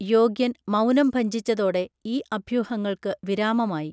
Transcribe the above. യോഗ്യൻ മൗനം ഭഞ്ജിച്ചതോടെ ഈ അഭ്യൂഹങ്ങൾക്കു വിരാമമായി